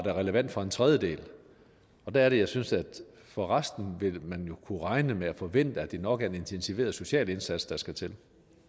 var relevant for en tredjedel der er det jeg synes at for resten vil man jo kunne regne med og forvente at det nok er en intensiveret social indsats der skal til